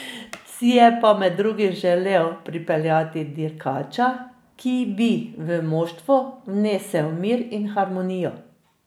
Si je pa med drugim želel pripeljati dirkača, ki bi v moštvo vnesel mir in harmonijo.